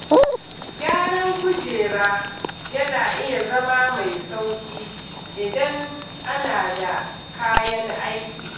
Gyaran kujera yana iya zama mai sauƙi idan ana da kayan aiki.